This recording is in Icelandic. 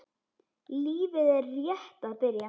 Lífið er rétt að byrja.